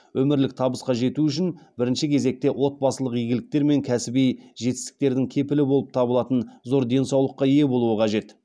өмірлік табысқа жету үшін бірінші кезекте отбасылық игіліктер мен кәсіби жетістіктердің кепілі болып табылатын зор денсаулыққа ие болу қажет